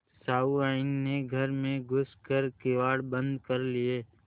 सहुआइन ने घर में घुस कर किवाड़ बंद कर लिये